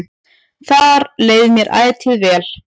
Þar leið mér ætíð vel.